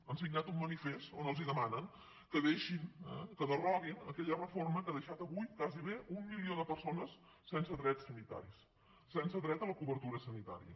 han signat un manifest on els demanen que deixin que deroguin aquella reforma que ha deixat avui gairebé un milió de persones sense drets sanitaris sense dret a la cobertura sanitària